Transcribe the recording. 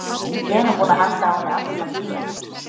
Iss, ég er nú búinn að halda á henni allan tímann.